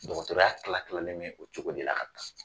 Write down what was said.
Dɔkɔtɔrɔya kila kilalen me o cogo de la ka taa